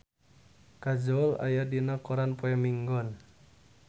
Kajol aya dina koran poe Minggon